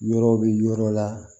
Yɔrɔ bɛ yɔrɔ la